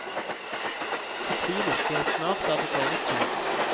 Fortvil ikke, snart er det deres tur.